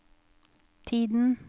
tiden